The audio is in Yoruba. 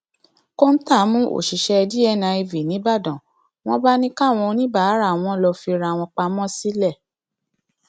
kọńtà mú òṣìṣẹ dniv nígbàdàn wọn bá ní káwọn oníbàárà wọn lọ fira wọn pamọ sílẹ